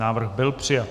Návrh byl přijat.